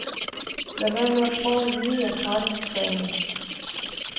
Lad være med at prøve at lyve jer fra det, sagde han.